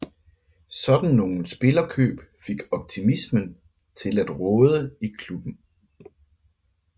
Sådan nogle spillerkøb fik optimismen til at råde i klubben